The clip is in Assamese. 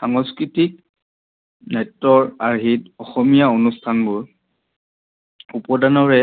সাংস্কৃতিত নেত্ৰৰ আৰ্হিত অসমীয়া অনুষ্ঠানবোৰ উপদানৰে